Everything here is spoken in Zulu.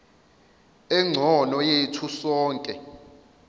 engcono yethu sonke